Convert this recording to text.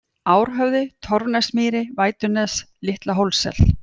Árhöfði, Torfnesmýri, Vætunes, Litla-Hólssel